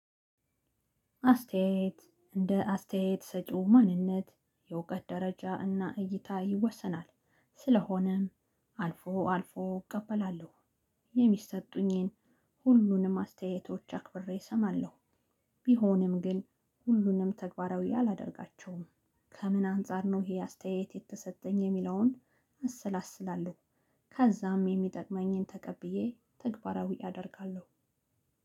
አስተያየት እንደ አስተያየት ሰጪው ማንነት የእውቀት ደረጃ እና እይታ ይወሰናል። ስለሆነም አልፎ አልፎ እቀበላለሁ የሚሰጡኝን ሁሉንም አስተያየቶች አክብሬ እሰማለሁ። ቢሆንም ግን ሁሉንም ተግባራዊ አላደርጋቸውም። ክምን አንፃር ይሄ አስተያየት የተሰጠኝ የሚለውን አሰላስላለሁ። ከዛም የሚጠቅመኝን ተቀብዬ ተግባራዊ አደርጋለሁ።